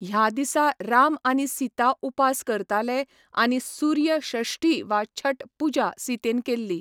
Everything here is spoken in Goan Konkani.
ह्या दिसा राम आनी सीता उपास करताले आनी सूर्य षष्ठी वा छठ पुजा सीतेन केल्ली.